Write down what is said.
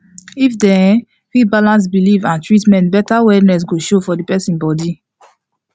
if dem um fit balance belief and treatment better wellness go show for the persin body